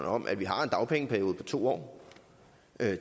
om at vi har en dagpengeperiode på to år